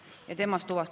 Aitäh, Helle-Moonika Helme!